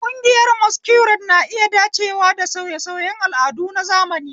Ƙungiyoyin Masquerade na iya dacewa da sauye-sauyen al'adu na zamani.